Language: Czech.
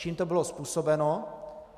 Čím to bylo způsobeno?